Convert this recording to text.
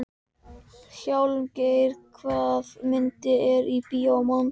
Hjálmgeir, hvaða myndir eru í bíó á mánudaginn?